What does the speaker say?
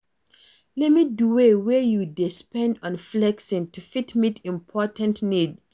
Limit di way wey you dey spend on flexing to fit meet important needs